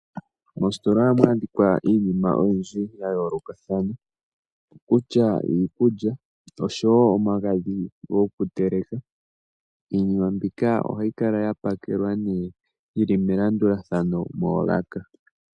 Mositola ohamu landithwa iinima oyindji ya yoolokathana kutya iikulya osho wo omagadhi gokuteleka. Iinima mbika ohayi kala ya pakelwa ne yili melandulathano moolaka.